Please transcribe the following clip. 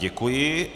Děkuji.